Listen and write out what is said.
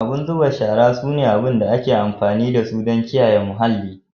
Dustbins sune kayan da ake amfani dasu don kiyaye datti daga muhalli